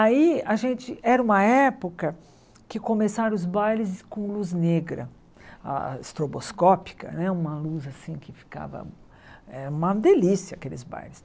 Aí era uma época que começaram os bailes com luz negra, a estroboscópica né, uma luz assim que ficava uma delícia aqueles bailes.